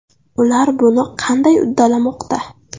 Ular buni qandy uddalamoqda?